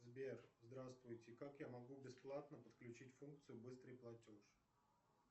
сбер здравствуйте как я могу бесплатно подключить функцию быстрый платеж